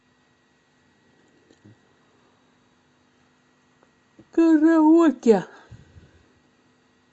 караоке